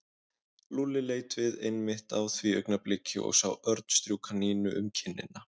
Lúlli leit við einmitt á því augnabliki og sá Örn strjúka Nínu um kinnina.